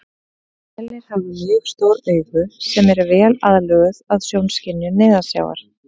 Selir hafa mjög stór augu sem eru vel aðlöguð að sjónskynjun neðansjávar.